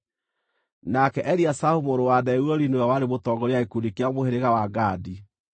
nake Eliasafu mũrũ wa Deueli nĩwe warĩ mũtongoria wa gĩkundi kĩa mũhĩrĩga wa Gadi.